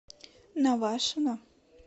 навашино